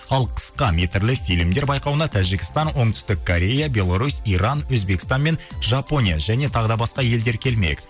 ал қысқа метрлі фильмдер байқауына тәжікстан оңтүстік корея белорусь иран өзбекстан мен жапония және тағы да басқа елдер келмек